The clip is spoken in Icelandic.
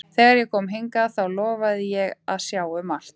Þegar ég kom hingað þá lofaði ég að sjá um allt.